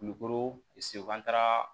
Kulukoro an taara